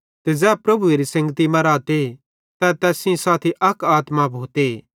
ते ज़ै प्रभुएरी संगति मां रहते तै तैस सेइं साथी अक आत्मा भोते